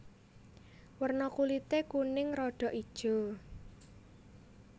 Werna kulité kuning rada ijo